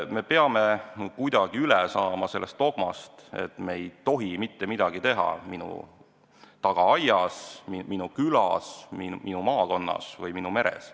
Me peame kuidagi üle saama sellest dogmast, et me ei tohi mitte midagi teha minu tagaaias, minu külas, minu maakonnas või minu meres.